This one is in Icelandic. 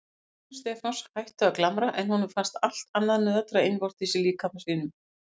Tennur Stefáns hættu að glamra en honum fannst allt annað nötra innvortis í líkama sínum.